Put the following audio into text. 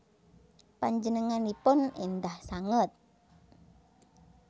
Panjenenganipun endah sanget